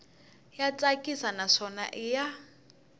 ya tsakisa naswona i ya